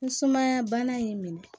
Ni sumaya bana ye n minɛ